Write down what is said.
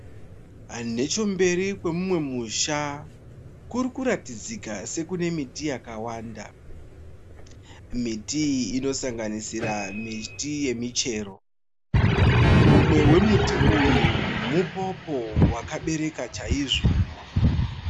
Nechemberi kwemumwe musha kuri kuratidzika sekune miti yakawanda. Miti iyi inosanganisira miti yemichero. Umwe wemuti uyu mupopo wakabereka chaizvo.